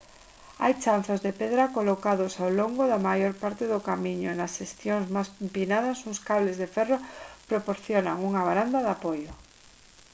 hai chanzos de pedra colocados alo longo da maior parte do camiño e nas seccións máis empinadas uns cables de ferro proporcionan unha varanda de apoio